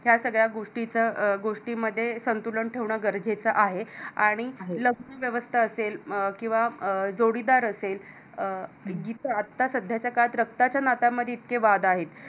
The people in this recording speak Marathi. या सगळ्या गोष्टींचा गोष्टींमध्ये संतुलन ठेवणं गरजेचं आहे आणि लग्न वावस्था असेल अं किंवा अं जोडीदार असेल अं जिथ आता सध्याच्या काळात रक्ताच्या नात्यामध्ये इतके वाद आहेत.